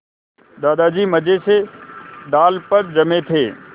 दादाजी मज़े से डाल पर जमे थे